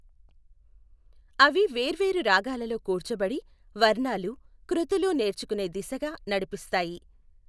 అవి వేర్వేరు రాగాలలో కూర్చబడి, వర్ణాలు, కృతులు నేర్చుకునే దిశగా నడిపిస్తాయి.